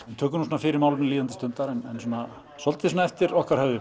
við tökum fyrir málefni líðandi stundar en svolítið eftir okkar höfði